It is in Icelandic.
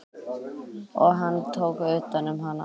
Og hann tók utan um hana.